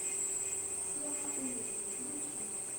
все на улицу включи